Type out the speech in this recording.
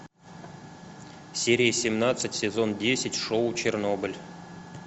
серия семнадцать сезон десять шоу чернобыль